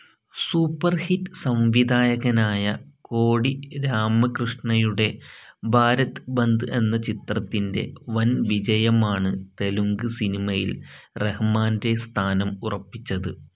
Superhit സംവിധായകനായ കോടി രാമകൃഷ്ണയുടെ ഭാരത് ബന്ദ് എന്ന ചിത്രത്തിൻ്റെ വൻവിജയമാണ് തെലുങ്ക് സിനിമയിൽ റഹ്മാൻ്റെ സ്ഥാനം ഉറപ്പിച്ചത്.